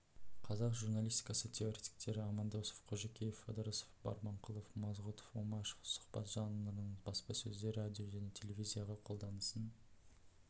қазақ журнаистикасы теоретиктері амандосов қожакеев ыдырысов барманқұлов мазғүтов омашев сұхбат жанрының баспасөзде радио жне телевизиядағы қолданысын